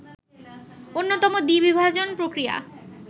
অন্যতম দ্বিবিভাজন প্রক্রিয়া